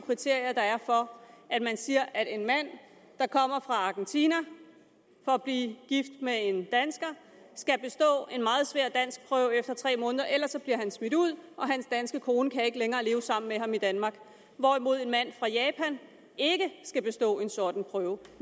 kriterier der er for at man siger at en mand der kommer fra argentina for at blive gift med en dansker skal bestå en meget svær danskprøve efter tre måneder ellers bliver han smidt ud og hans danske kone kan ikke længere leve sammen med ham i danmark hvorimod en mand fra japan ikke skal bestå en sådan prøve